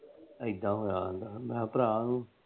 ਏਦਾਂ ਹੋਇਆ ਆਉਂਦਾ। ਮੈ ਕਿਹਾ ਭਰਾ